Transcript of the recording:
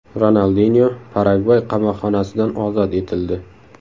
Ronaldinyo Paragvay qamoqxonasidan ozod etildi.